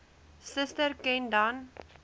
suster ken dan